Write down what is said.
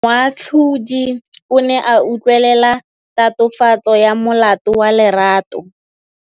Moatlhodi o ne a utlwelela tatofatsô ya molato wa Lerato.